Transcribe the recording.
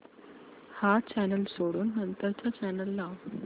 हा चॅनल सोडून नंतर चा चॅनल लाव